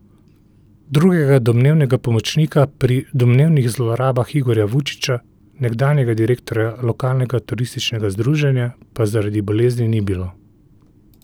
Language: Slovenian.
Drugega domnevnega pomočnika pri domnevnih zlorabah Igorja Vučiča, nekdanjega direktorja lokalnega turističnega združenja, pa zaradi bolezni ni bilo.